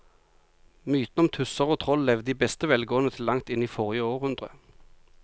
Mytene om tusser og troll levde i beste velgående til langt inn i forrige århundre.